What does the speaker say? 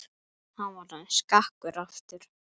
Hann var orðinn skakkur aftur.